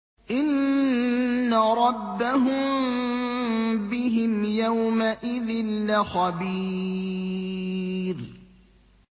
إِنَّ رَبَّهُم بِهِمْ يَوْمَئِذٍ لَّخَبِيرٌ